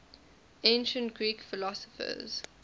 ancient greek philosophers